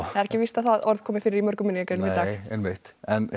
það er ekki víst að það orð komi fyrir í mörgum minningargreinum nei einmitt